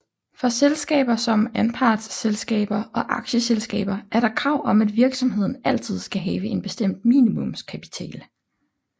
For selskaber som anpartsselskaber og aktieselskaber er der krav om at virksomheden altid skal have en bestemt minimumskapital